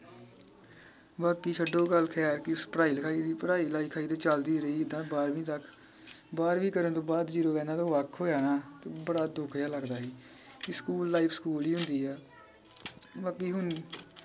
ਬਾਕੀ ਛੱਡੋ ਗੱਲ ਖੈਰ ਕੀ ਪੜ੍ਹਾਈ ਲਿਖਾਈ ਦੀ ਪੜ੍ਹਾਈ ਲਿਖਾਈ ਤੇ ਚਲਦੀ ਰਹੀ ਏਤਾ ਬਾਰ੍ਹਵੀਂ ਤੱਕ। ਬਾਰ੍ਹਵੀਂ ਕਰਨ ਤੋਂ ਬਾਅਦ ਜਦੋਂ ਇਹਨਾਂ ਦਾ ਵੱਖ ਹੋਜਾਣਾ ਬੜਾ ਦੁੱਖ ਜੇਹਾ ਲੱਗਦਾ ਹੀ ਕਿ ਸਕੂਲ life ਸਕੂਲ ਹੀ ਹੁੰਦੀ ਆ ਬਾਕੀ ਹੁਣ